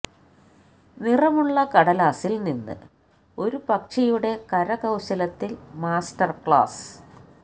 നിറമുള്ള കടലാസിൽ നിന്ന് ഒരു പക്ഷിയുടെ കരകൌശലത്തിൽ മാസ്റ്റർ ക്ലാസ്